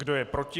Kdo je proti?